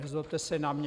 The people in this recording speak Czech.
Nezlobte se na mě.